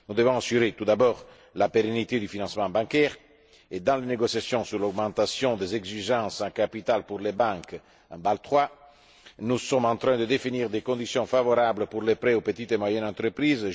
Nous devons assurer tout d'abord la pérennité du financement bancaire et, dans les négociations sur l'augmentation des exigences en capital pour les banques, dans le cadre de Bâle III, nous sommes en train de définir des conditions favorables pour les prêts aux petites et moyennes entreprises.